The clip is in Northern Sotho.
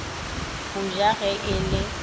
go ja ge e le